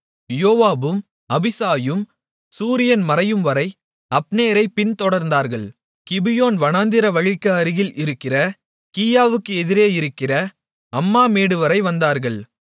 யோவாபும் அபிசாயும் சூரியன் மறையும்வரை அப்னேரைப் பின்தொடர்ந்தார்கள் கிபியோன் வனாந்திர வழிக்கு அருகில் இருக்கிற கீயாவுக்கு எதிரே இருக்கிற அம்மா மேடுவரை வந்தார்கள்